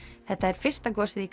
þetta er fyrsta gosið í